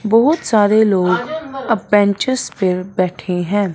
बहोत सारे लोग अ बेंचेस बैठे हैं।